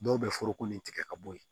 Dɔw bɛ foroko nin tigɛ ka bɔ yen